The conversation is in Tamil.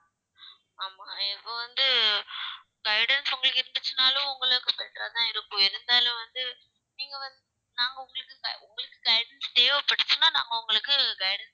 ஆமா இப்ப வந்து guidance உங்களுக்கு இருந்துச்சுன்னாலும் உங்களுக்கு better ஆதான் இருக்கும் இருந்தாலும் வந்து நீங்க வந்து நாங்க உங்களுக்கு கை~ உங்களுக்கு guidance தேவைப்பட்டுச்சுன்னா நாங்க உங்களுக்கு guidance